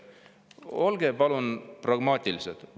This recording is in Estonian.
Olge palun pragmaatilised!